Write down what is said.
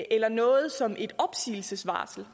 eller noget som et opsigelsesvarsel